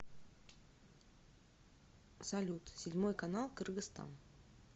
салют седьмой канал кыргызстан